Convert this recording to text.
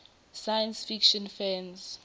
science fiction fans